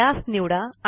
त्यास निवडा